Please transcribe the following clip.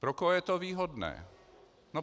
Pro koho je to výhodné?